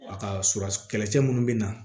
A ka su kɛlɛcɛ minnu bɛ na